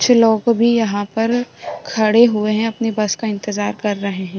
कुछ लोग भी यहाँ पर खड़े हुए हैं अपनी बस का इंतज़ार कर रहे हैं |